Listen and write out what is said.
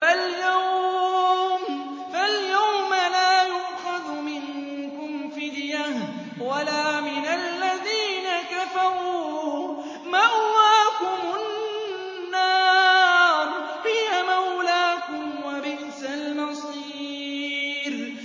فَالْيَوْمَ لَا يُؤْخَذُ مِنكُمْ فِدْيَةٌ وَلَا مِنَ الَّذِينَ كَفَرُوا ۚ مَأْوَاكُمُ النَّارُ ۖ هِيَ مَوْلَاكُمْ ۖ وَبِئْسَ الْمَصِيرُ